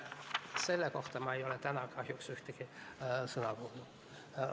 Selle kohta ma ei ole täna kahjuks ühtegi sõna kuulnud.